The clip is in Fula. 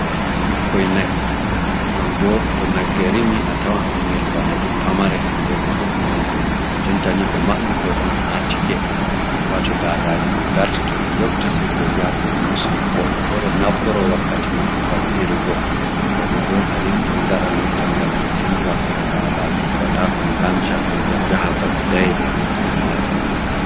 Ɓikkoi na'i non bo to nagge rimi a tawan ɓingel bana ni pamare hiddeko ngel mauna. Jonta ni ɓe maɓɓi koi on ha tike heɓa to daadaji mai ngarti to ɓe njofti sei koi njaha kon musina woɓɓe fere naftoro wakkati mai ngam ɓirugo, woɓɓe bo kadi ɗon gaɗa non tan ngam ɓe sendira ko'e daadaji heɓata kon ngansha ko jahan babe daiɗe ngam koi ngala sembe ɗo .